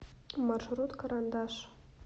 маршрут карандаш